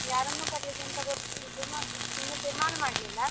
ಯಾರನ್ನು ಕರಿಯುವುದಂತ ಗೊತ್ತಿ~ ಇದು ಮಾಡ್ಲಿಲ್ಲಾ, ಇನ್ನು ತೀರ್ಮಾನ ಮಾಡ್ಲಿಲ್ಲಾ.